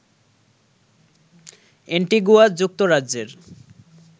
Antigua যুক্তরাজ্যের